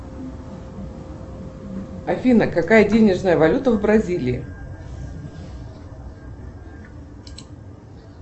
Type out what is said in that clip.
афина какая денежная валюта в бразилии